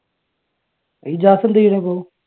ഇജാസ് എന്ത് ചെയുന്നു ഇപ്പൊ?